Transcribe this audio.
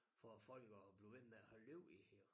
For folk at blive ved med at holde liv i det hele